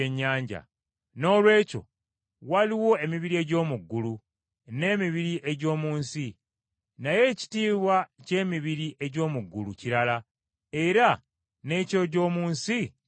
Noolwekyo waliwo emibiri egy’omu ggulu, n’emibiri egy’omu nsi. Naye ekitiibwa ky’emibiri egy’omu ggulu kirala, era n’eky’egy’omu nsi kirala.